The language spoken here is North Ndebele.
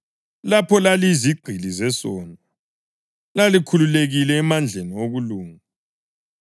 Lapho laliyizigqili zesono, lalikhululekile emandleni okulunga.